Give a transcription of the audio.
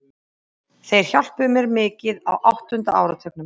Seinni viðureignin í fyrri umferð úrslita enska deildabikarsins fer fram í kvöld.